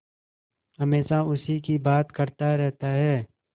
हमेशा उसी की बात करता रहता है